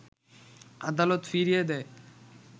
আদালত ফিরিয়ে দেয়